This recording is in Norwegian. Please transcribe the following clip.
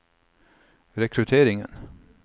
rekrutteringen